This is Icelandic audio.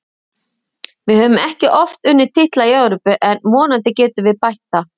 Við höfum ekki oft unnið titla í Evrópu en vonandi getum við bætt það.